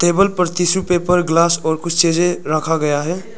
Table पर tissue paper glass और कुछ चीजे रखा गया है।